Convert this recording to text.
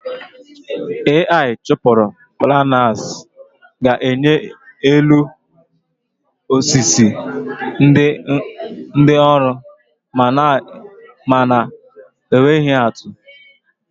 Ai chụpụrụ planers ga-enye elu osisi dị nrọ ma na-enweghi atụ